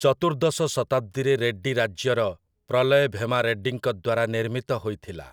ଚତୁର୍ଦ୍ଦଶ ଶତାବ୍ଦୀରେ ରେଡ୍ଡି ରାଜ୍ୟର ପ୍ରଲୟ ଭେମା ରେଡ୍ଡୀଙ୍କ ଦ୍ୱାରା ନିର୍ମିତ ହୋଇଥିଲା ।